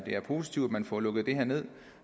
positivt at man får lukket det her ned